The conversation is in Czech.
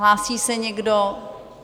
Hlásí se někdo?